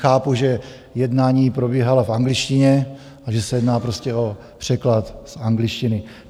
Chápu, že jednání probíhala v angličtině a že se jedná prostě o překlad z angličtiny.